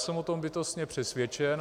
Jsem o tom bytostně přesvědčen.